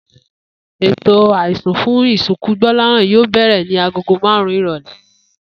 Ètò àisùn fún ìsìnkú Gbó̩láhàn yóò bè̩rè̩ ni aago márùn-ún ìrò̩lé̩